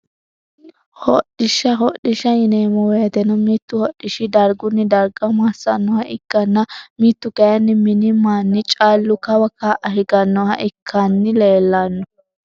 Hodhdhisha hodhisha yineemo woyiteno mitu hodhishi darguni darga masanoha ikkana mitu kayini mini mani callu kawa ka`a higanoha ikani leelano.